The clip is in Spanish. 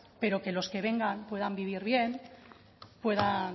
pero que los que vengan puedan vivir bien puedan